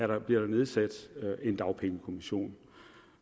der nedsat en dagpengekommission